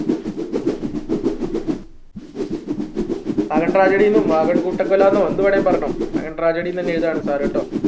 wagon tragedy ന്നും wagon കൂട്ടക്കൊലന്നും എന്ത് വേണേലും പറഞ്ഞോ വാഗൺ tragedy ന്ന് തന്നെ എഴുതാണ് sir ട്ടോ